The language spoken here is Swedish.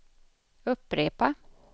upprepa